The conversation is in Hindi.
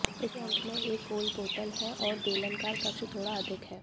इसके अंत में एक गोल बोतल है और बेलनाकार कक्ष थोड़ा अधिक है